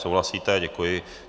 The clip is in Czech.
Souhlasíte, děkuji.